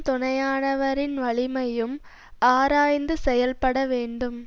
துணையானவரின் வலிமையும் ஆராய்ந்து செயல்பட வேண்டும்